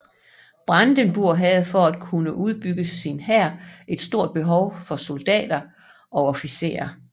Brandenburg havde for at kunne udbygge sin hær et stort behov for soldatter og officerer